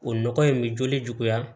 O nɔgɔ in bɛ joli juguya